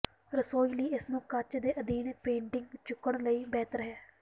ਰਸੋਈ ਲਈ ਇਸ ਨੂੰ ਕੱਚ ਦੇ ਅਧੀਨ ਪੇਟਿੰਗ ਨੂੰ ਚੁੱਕਣ ਲਈ ਬਿਹਤਰ ਹੈ